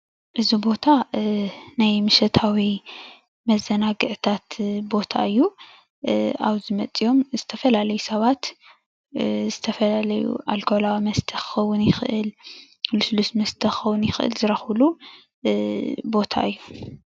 እዚ ቦታ ናይ ምሸታዊ መዘናግዒታት ቦታ እዩ፡፡ ኣብዚ መፂአም ዝተፈላለዩ ሰባት ዝተፈላለዩ ኣልኮላዊ መስተ ክኸውን ይኽእል፣ ልስሉስ መስተ ክኸውን ይኽእል ዝረኽብሉ ቦታ እዩ፡፡